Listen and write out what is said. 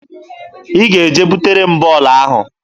Ị ga-eje butere m bọọlụ ahụ!